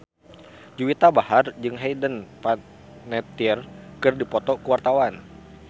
Juwita Bahar jeung Hayden Panettiere keur dipoto ku wartawan